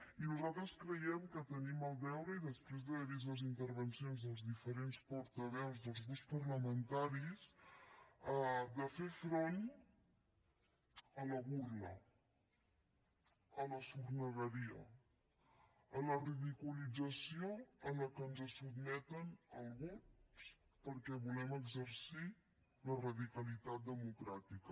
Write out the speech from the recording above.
i nosaltres creiem que tenim el deure després d’haver vist les intervencions dels diferents portaveus dels grups parlamentaris de fer front a la burla a la sornegueria a la ridiculització a què ens sotmeten alguns perquè volem exercir la radicalitat democràtica